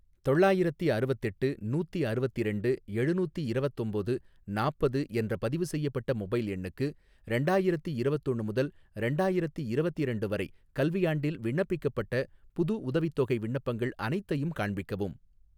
தொள்ளாயிரத்தி அறுவத்தெட்டு நூத்தி அறுவத்திரண்டு எழுநூத்தி இரவத்தொம்போது நாப்பது என்ற பதிவுசெய்யப்பட்ட மொபைல் எண்ணுக்கு, ரெண்டாயிரத்தி இரவத்தொன்னு முதல் ரெண்டாயிரத்தி இரவத்திரண்டு வரை கல்வியாண்டில் விண்ணப்பிக்கப்பட்ட புது உதவித்தொகை விண்ணப்பங்கள் அனைத்தையும் காண்பிக்கவும்